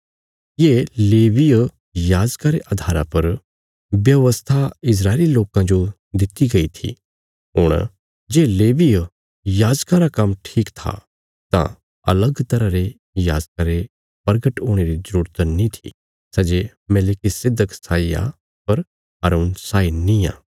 ये लेवीय याजका रे अधारा पर व्यवस्था इस्राएली लोकां जो दित्ति गई थी हुण जे लेवीय याजकां रा काम्म ठीक था तां अलग तरह रे याजका रे प्रगट हुणे री जरूरत नीं थी सै जे मेलिकिसिदक साई आ पर हारून साई नींआ